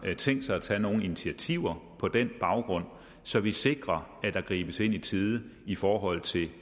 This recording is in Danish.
tænkt sig at tage nogen initiativer på den baggrund så vi sikrer at der gribes ind i tide i forhold til